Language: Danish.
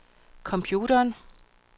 computeren